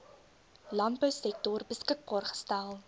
landbousektor beskikbaar gestel